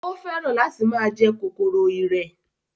Ó fẹ́ràn láti máa jẹ kòkòrò ìrẹ̀